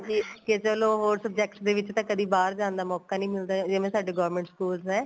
ਕੇ ਚਲੋ ਹੋਰ subjects ਦੇ ਵਿੱਚ ਤਾਂ ਚਲੋ ਬਾਹਰ ਜਾਣ ਦਾ ਮੋਕਾ ਨੀਂ ਮਿਲਦਾ ਜਿਵੇਂ ਸਾਡੇ government schools ਨੇ